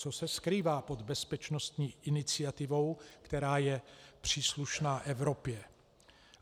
Co se skrývá pod bezpečnostní iniciativou, která je příslušná Evropě?